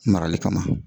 Marali kama